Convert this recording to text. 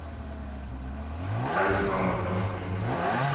салют мама звонит прими звонок